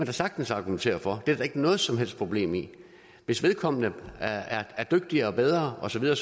da sagtens argumentere for det er der da ikke noget som helst problem i hvis vedkommende er dygtigere og bedre og så videre